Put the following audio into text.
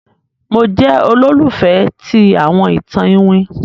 Mo jẹ olólùfẹ̀ ti àwọn itan Iwin.